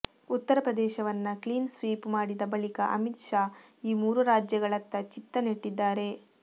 ಉತ್ತರಪ್ರದೇಶವನ್ನ clean sweep ಮಾಡಿದ ಬಳಿಕ ಅಮಿತ್ ಶಾ ಈ ಮೂರೂ ರಾಜ್ಯಗಳತ್ತ ಚಿತ್ತ ನೆಟ್ಟಿದ್ದಾರೆ